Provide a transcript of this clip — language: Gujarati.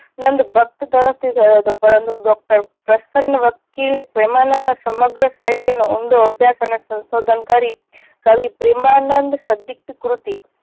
નંદ ભક્ત તરફ થી થયો હતો પરંતુ ડોક્ટર પ્રસન્ન વકીલે પ્રેમાનંદના સમગ્ર સાહિત્ય નો ઊંડો અભ્યાસ અને સંશોધન કરી કવિ પ્રેમાનંદ ક્ષધિક કૃતિ